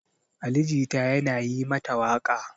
Ali Jita yana yi mata waƙa.